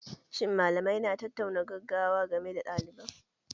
Shin malamai na tattaunawar gaggawa game da ɗaliban?